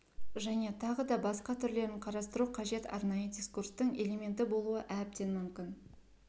және тағы да басқа түрлерін қарастыру қажет арнайы дискурстың элементі болуы әбден мүмкін